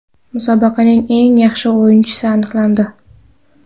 Musobaqaning eng yaxshi o‘yinchisi aniqlandi !